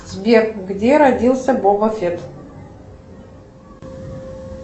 сбер где родился боба фетт